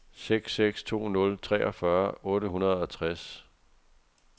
seks seks to nul treogfyrre otte hundrede og tres